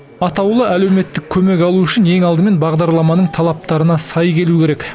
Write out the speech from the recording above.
атаулы әлеуметтік көмек алу үшін ең алдымен бағдарламаның талаптарына сай келу керек